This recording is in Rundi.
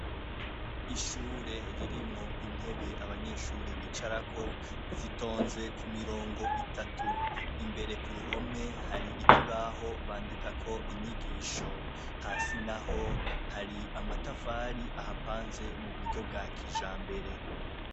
Ishure ririmwo intebe abanyeshure bicarako zitonze k'umurongo, imbere hari ikibaho bandikako inyogisho ,hasi naho hari amatafari ahapanze muburyo bwakijambere.